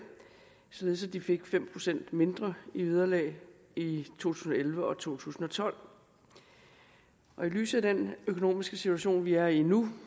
således at de fik fem procent mindre i vederlag i to tusind og elleve og to tusind og tolv og i lyset af den økonomiske situation vi er i nu